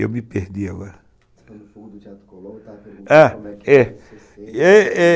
Eu me perdi agora.